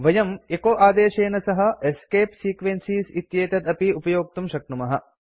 वयं एचो आदेशेन सह एस्केप सीक्वेंसेस् इत्येतत् अपि उपयोक्तुं शक्नुमः